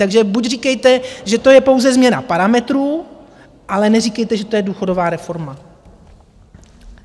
Takže buď říkejte, že to je pouze změna parametrů, ale neříkejte, že to je důchodová reforma.